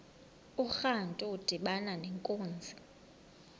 urantu udibana nenkunzi